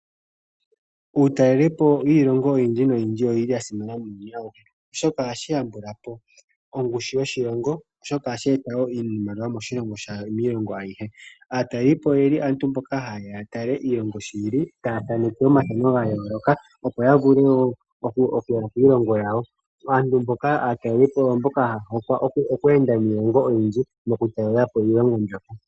Uutalelipo wiilongo oyindji oyasimana oshoka ohashi yambula po ongushu yoshilongo, ohashi eta woo oshimaliwa miilongo ayihe. Aatalelipo oyo aantu mboka haya talele po iilongo sho yili, haya thaaneke omafano gayooloka. Aatelelipo oyo mboka haya hokwa oku enda iilongo oyindji taya talele po iilongo mbyoka.